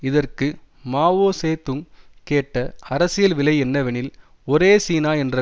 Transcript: இதற்கு Mao Zedong கேட்ட அரசியல் விலை என்னவெனில் ஒரே சீனா என்ற